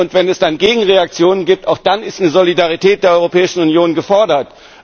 Wenn es dann Gegenreaktionen gibt, auch dann ist eine Solidarität der Europäischen Union gefordert.